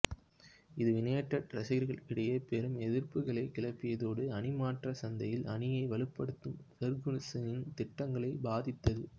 இது யுனைடெட் ரசிகர்களிடையே பெரும் எதிர்ப்புகளைக் கிளப்பியதோடு அணிமாற்றச் சந்தையில் அணியை வலுப்படுத்தும் ஃபெர்குஸனின் திட்டங்களையும் பாதித்தது